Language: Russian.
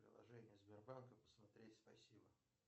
приложение сбербанка посмотреть спасибо